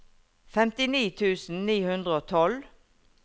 femtini tusen ni hundre og tolv